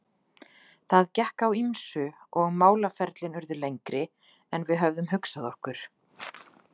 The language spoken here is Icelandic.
Það gekk á ýmsu og málaferlin urðu lengri en við höfðum hugsað okkur.